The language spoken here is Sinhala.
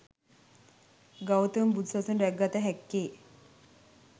ගෞතම බුදු සසුන රැකගත හැක්කේ